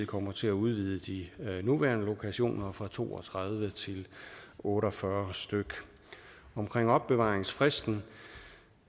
kommer til at udvide de nuværende lokationer fra to og tredive til otte og fyrre stykke omkring opbevaringsfristen